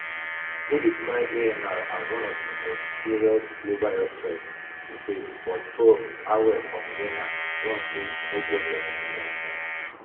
who describe amr as one ofdimost serious global health threats we face but prof harwell from vienna warn say e no get any easy answers